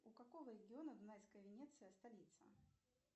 у какого региона дунайская венеция столица